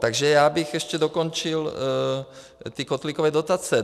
Takže já bych ještě dokončil ty kotlíkové dotace.